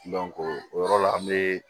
o yɔrɔ la an be